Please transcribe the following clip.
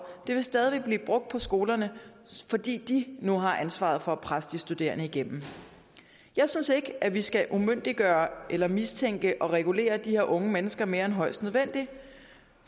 vil stadig væk blive brugt på skolerne fordi de nu har ansvaret for at presse de studerende igennem jeg synes ikke at vi skal umyndiggøre eller mistænke og regulere de her unge mennesker mere end højst nødvendigt